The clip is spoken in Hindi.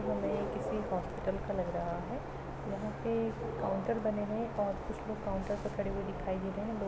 यह हमें किसी हॉस्पिटल का लग रहा हैं यहाँ पे काउंटर बने हुए हैं और कुछ लोग काउंटर पर खड़े हुए दिखाई दे रहे हैं लोग --